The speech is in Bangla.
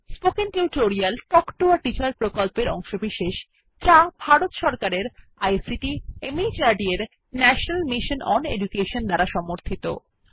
spoken tutorial talk to a teacher প্রকল্পের অংশবিশেষ যা ভারত সরকারের আইসিটি মাহর্দ এর ন্যাশনাল মিশন ওন এডুকেশন দ্বারা সমর্থিত